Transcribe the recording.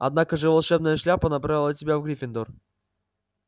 однако же волшебная шляпа направила тебя в гриффиндор